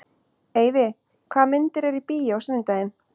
Eyfi, hvaða myndir eru í bíó á sunnudaginn?